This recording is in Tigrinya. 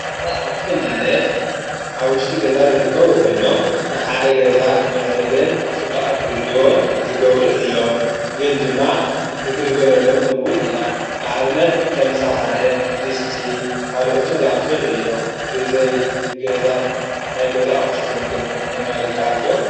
ንገዛ ኣቕሑ ማለት ኣብ ውሽጢ ገዛ ዝርከቡ ኾይኖም ን ሓደ ገዛ ኽምዕረገን ጽባቐ ኽህልዎን ዝገብሩ እዮም ግን ድማ ንግልገለሎም'ውን ኢና ንኣብነት ከም ሽሓነ ድስቲ ካልኦትን ዝኣምሰሉ እዮም። ብዘይ ገዛን ናይ ገዛ ኣቝሕትን ግን ምንባር ይከኣል ዶ?